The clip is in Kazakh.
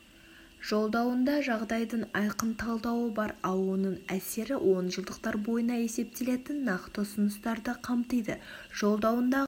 жолдауында жағдайдың айқын талдауы бар ал оның әсері онжылдықтар бойына есептелетін нақты ұсыныстарды қамтиды жолдауындағы